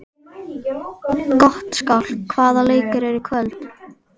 Gottskálk, hvaða leikir eru í kvöld?